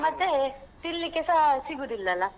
ಮತ್ತೇ ತಿನ್ಲಿಕ್ಕೆಸ ಸಿಗುದಿಲ್ಲ ಅಲ್ಲ.